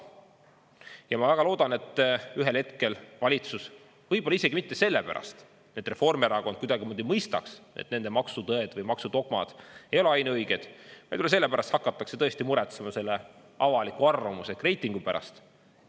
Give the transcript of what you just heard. Ja ma väga loodan, et ühel hetkel valitsus, võib-olla isegi mitte sellepärast, et Reformierakond kuidagimoodi mõistaks, et nende maksutõed või maksudogmad ei ole ainuõiged, vaid võib-olla sellepärast, et hakatakse tõesti muretsema selle avaliku arvamuse ehk reitingu pärast.